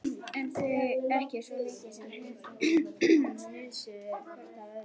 En þau ekki svo mikið sem hnusuðu hvort af öðru.